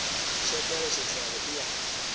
usekela sihlalo iya